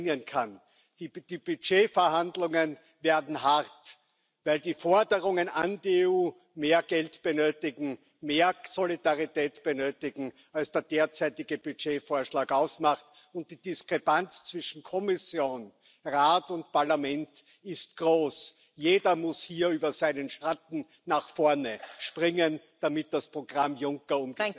Una Europa fuerte que asuma posiciones comunes y solidaridad para afrontar el reto de la inmigración y devolver la dignidad a nuestro proyecto. Una Europa capaz de traducir el crecimiento económico en justicia social y reparto, garantizando Estados de bienestar fuertes. Una Europa capaz de hacer frente a la lucha contra el cambio climático.